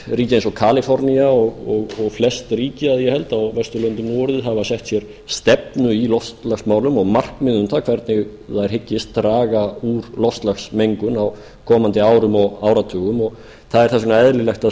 ríki eins og kalifornía og flest ríki að ég held á vesturlöndum nú orðið hafa sett sér stefnu í loftslagsmálum og markmið um það hvernig þær hyggist draga úr loftslagsmengun á komandi árum og áratugum og það er þess vegna eðlilegt að